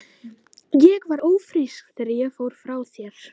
Ég var ófrísk þegar ég fór frá þér.